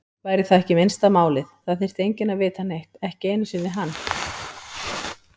Væri það ekki minnsta málið, það þyrfti enginn að vita neitt, ekki einu sinni hann.